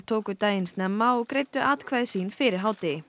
tóku daginn snemma og greiddu atkvæði sín fyrir hádegi